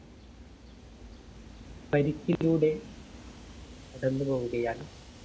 പരിക്കിലൂടെ കടന്നുപോവുകയാണ്